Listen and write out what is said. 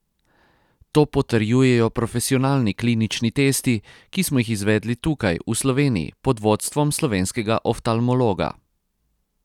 To potrjujejo profesionalni klinični testi, ki smo jih izvedli tukaj, v Sloveniji, pod vodstvom slovenskega oftalmologa.